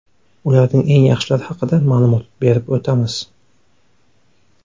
Ularning eng yaxshilari haqida ma’lumot berib o‘tamiz .